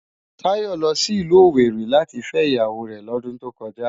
Tayo lò si ilù Owéri láti fè iyáwó rè lòdùn tókòjá